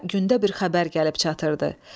Xotkara gündə bir xəbər gəlib çatırdı.